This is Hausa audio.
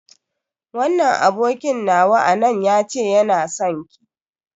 Wannan abokin nawa a nan ya ce yana sonki.